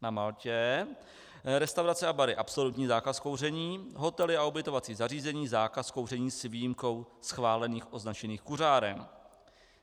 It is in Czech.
Na Maltě - restaurace a bary - absolutní zákaz kouření, hotely a ubytovací zařízení - zákaz kouření s výjimkou schválených označených kuřáren.